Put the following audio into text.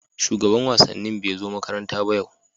shugaban wasannin bai zo makaranta yau ba.